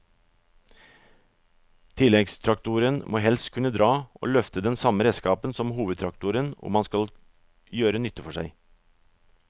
Tilleggstraktoren må helst kunne dra og løfte den samme redskapen som hovedtraktoren om han skal gjøre nytte for seg.